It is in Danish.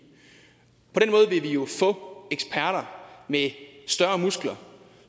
jo få eksperter med større muskler